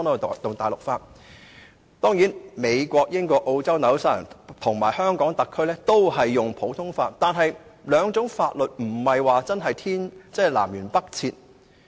當然，美國、英國、澳洲、新西蘭和香港特區都是實行普通法，但這兩套法律並非真的南轅北轍。